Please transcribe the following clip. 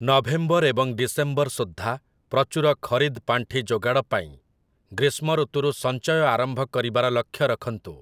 November ଏବଂ December ସୁଦ୍ଧା ପ୍ରଚୁର ଖରିଦ ପାଣ୍ଠି ଯୋଗାଡ଼ ପାଇଁ ଗ୍ରୀଷ୍ମଋତୁରୁ ସଞ୍ଚୟ ଆରମ୍ଭ କରିବାର ଲକ୍ଷ୍ୟ ରଖନ୍ତୁ ।